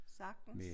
Sagtens